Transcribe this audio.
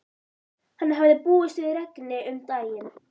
Hann hafði búist við regni um daginn.